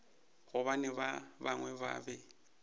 gobane ba bangwe ba be